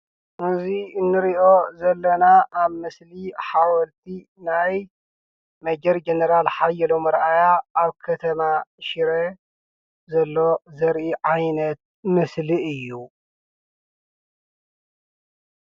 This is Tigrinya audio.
እዙይ እንርእዮ ዘለና ምስሊ ኣብ ሓወልቲ ናይ መጀር ጀነራል ሓየሎም ኣርኣያ ኣብ ከተማ ሽረ ዘሎ ዘሪኢ ዓይነት ምስሊ እዩ።